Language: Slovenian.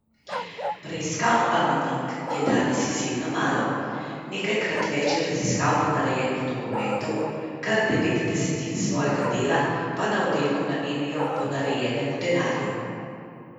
Preiskav anonimk je danes izjemno malo, nekajkrat več je raziskav ponarejenih dokumentov, kar devet desetin svojega dela pa na oddelku namenijo ponarejenemu denarju.